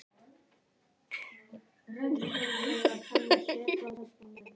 Þórhildur sussar á mig.